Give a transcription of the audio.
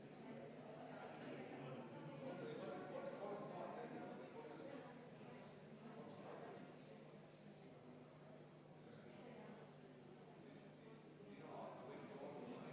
Muudatusettepanekut toetab 44 saadikut, vastu on 8, erapooletuid ei ole.